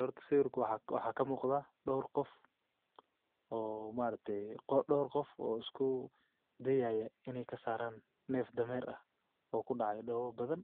Waaxa ka muuqda dhawr qof oo maarteeyo qo dhawr qof oo isku dayaya inay ka saaraan neef dhammeer ah oo ku dhacay dhowe badan